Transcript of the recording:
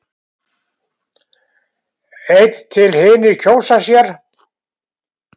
Einn til hinir kjósa sér.